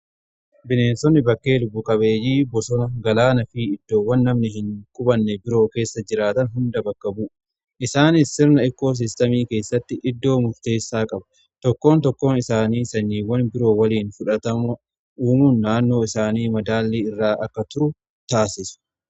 Bineensonni bakkee lubbu qabeeyyii bosona, galaanaa fi iddoowwan namni hin qubanne biroo keessa jiraatan hunda bakka bu'uudha. Isaanis sirna ikkoosiistemii keessatti iddoo murteessaa qabuudha. Tokkoon tokkoon isaanii sanyiiwwan biroo waliin fudhatama uumuun naannoon isaanii madaallii irraa akka turu taasisu.